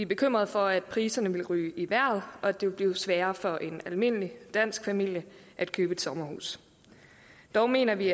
bekymret for at priserne vil ryge i vejret og at det vil blive sværere for en almindelig dansk familie at købe sommerhus dog mener vi